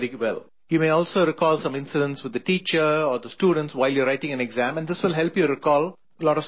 You may also recall some incidents with the teacher or the students, while you are writing an exam and this will help you recall a lot of subject matter